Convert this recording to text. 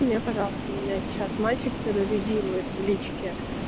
мне пожалуйста меня сейчас мальчик терроризирует в личке